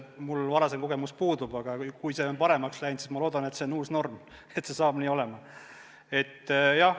Mul varasem kogemus puudub, aga kui see on paremaks läinud, siis ma loodan, et see on uus norm, et see saab nii olema.